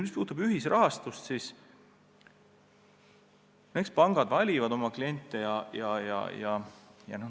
Mis puutub ühisrahastusse, siis eks pangad valivad oma kliente.